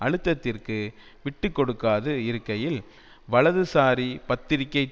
அழுத்தத்திற்கு விட்டுக்கொடுக்காது இருக்கையில் வலதுசாரி பத்திரிகை